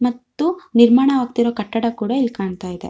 ಮತ್ತು ನಿರ್ಮಾಣ ಆಗತ್ತೀರೊ ಕಟ್ಟಡ ಕೂಡ ಇಲ್ಲಿ ಕಾಣ್ತಾ ಇದೆ.